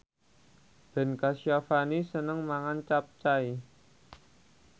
Ben Kasyafani seneng mangan capcay